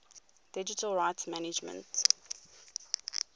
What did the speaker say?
digital rights management